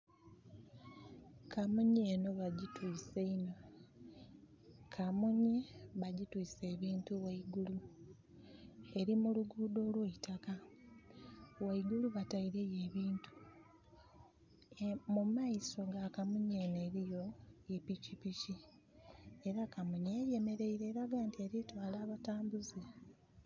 Kamunye eno bagitwise inho. Kamunye bagitwise ebintu waigulu. Eri muluguudo olw' eitakka. Waigulu bataireyo ebintu. Mumaiso wa kamunye eno eriyo pikipiki. Era kamunye eno eyemereire elaga nti eritwala batambuze